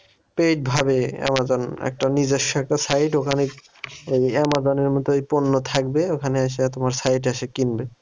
paid ভাবে Amazon একটা নিজস্ব একটা site ওখানে এই আমাজনের মতোই পন্য থাকবে ওখানে এসে তোমার site এ এসে কিনবে